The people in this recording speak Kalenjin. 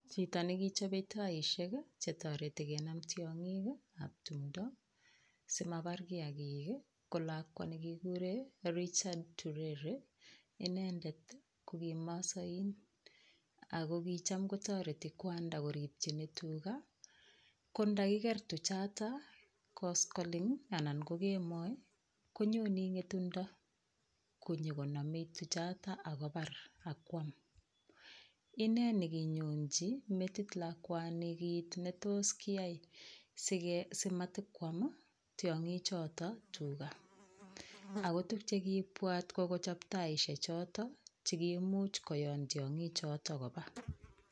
Chito nekichobe taishek che toreti kenam tiong'ik ab tumdo simabar kiyagik ko lakwa nekiguren Richard Turere inendet ko kimaasain, ago kicham kotoreti kwanda koripchin tuga kondakiger tuchoto koskoleny anan ko kemoi, konyone ng'etundo konyokonome tuchata ak kobar ak koam. Ine neginyonji metit lakwani kit netos keyai simata kwam tiong'ichoto tuga. Ago tuguk che kiibwat ko kochop taishek choto che kimuch kowon tiong'ichoto koba.